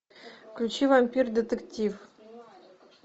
включи вампир детектив